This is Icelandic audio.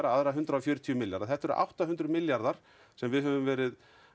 aðra hundrað og fjörutíu milljarða þetta eru átta hundruð milljarðar sem við höfum verið